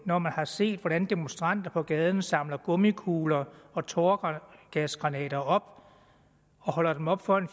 når man har set hvordan demonstranter på gaden samler gummikugler og tåregasgranater op og holder dem op foran